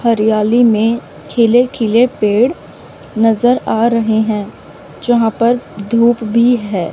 हरियाली में खिले खिले पेड़ नजर आ रहे हैं यहां पर धूप भी है।